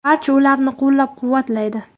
Barcha ularni qo‘llab-quvvatlaydi.